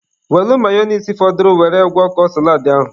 Welụ mayonise fọdụrụ were gwọkọọ saladị ahụ.